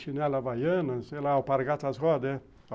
Chinela havaiana, sei lá, o alpargatas, né?